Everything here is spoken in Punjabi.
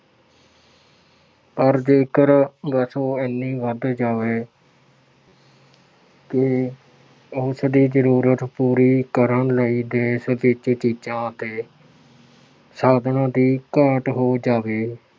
ਪਰ ਜੇਕਰ ਵਸੋਂ ਐਨੀ ਵੱਧ ਜਾਵੇ ਕਿ ਉਸਦੀ ਜ਼ਰੂਰਤ ਪੂਰੀ ਕਰਨ ਲਈ ਦੇਸ਼ ਵਿੱਚ ਚੀਜ਼ਾਂ ਅਤੇ ਸਾਧਨਾਂ ਦੀ ਘਾਟ ਹੋ ਜਾਵੇ।